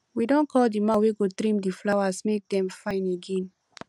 we don call the man wey go trim the flowers make dem fine again